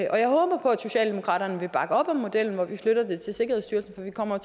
og jeg håber på at socialdemokratiet vil bakke op om modellen hvor vi flytter det til sikkerhedsstyrelsen for der kommer